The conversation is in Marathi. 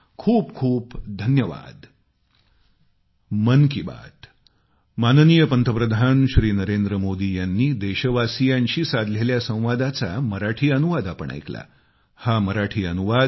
खूप खूप धन्यवाद